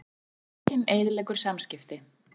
Lekinn eyðileggur samskipti